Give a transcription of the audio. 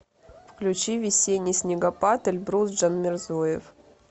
включи весенний снегопад эльбрус джанмирзоев